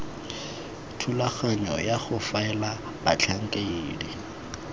thulaganyo ya go faela batlhankedi